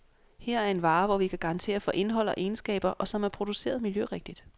Her er en vare, hvor vi kan garantere for indhold og egenskaber, og som er produceret miljørigtigt.